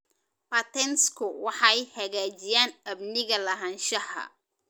Patentsku waxay hagaajiyaan amniga lahaanshaha.